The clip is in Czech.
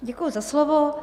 Děkuji za slovo.